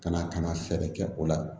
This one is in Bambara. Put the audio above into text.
Ka na ka na fɛɛrɛ kɛ o la